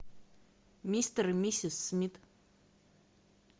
мистер и миссис смит